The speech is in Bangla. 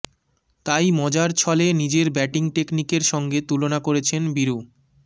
তাই মজার ছলে নিজের ব্যাটিং টেকনিকের সঙ্গে তুলনা করেছেন বীরু